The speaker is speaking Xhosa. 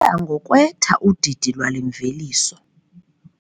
Luya ngokwetha udidi lwale mveliso.